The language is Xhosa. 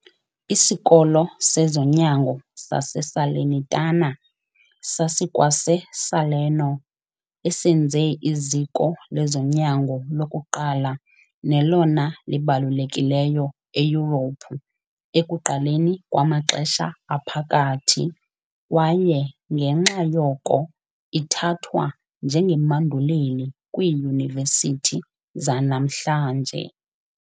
ISikolo sezoNyango sase-Salernitana sasikwase-Salerno, esenze iziko lezonyango lokuqala nelona libalulekileyo eYurophu ekuqaleni kwamaXesha Aphakathi, kwaye ngenxa yoko ithathwa njengemanduleli kwiiyunivesithi zanamhlanje.